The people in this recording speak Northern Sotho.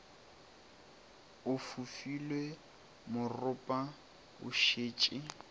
o fofile moropa o sešo